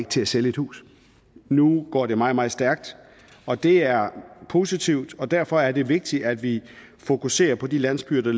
til at sælge et hus nu går det meget meget stærkt og det er positivt og derfor er det vigtigt at vi fokuserer på de landsbyer